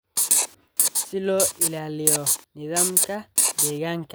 si loo ilaaliyo nidaamka deegaanka.